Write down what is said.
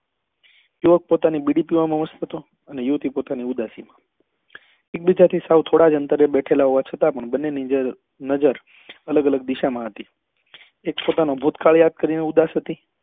યુવક પોતાની બીડી પીવા માં હતો અને યુવતી પોતાની ઉદાસી માં એક બીજા થી સાવ થોડા જ અંતરે બેઠેલા હોવા છતાં પણ બંને ની નજર અલગ અલગ દિશા માં હતી એક પોતાનું ભૂતકાળ યાદ કરી ને ઉદાસ હતી